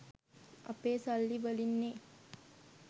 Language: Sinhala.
අපේ සල්ලි වලින්නෙ